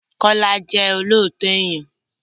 Kọ́lá jẹ́ olóòtọ èèyàn.